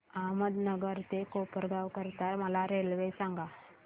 अहमदनगर ते कोपरगाव करीता मला रेल्वे सांगा